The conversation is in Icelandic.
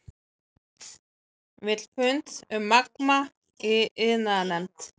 Vill fund um Magma í iðnaðarnefnd